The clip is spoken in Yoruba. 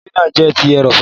Ilẹ̀ náà jẹ ti erọ̀fọ̀.